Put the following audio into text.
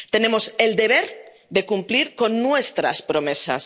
Tenemos el deber de cumplir con nuestras promesas.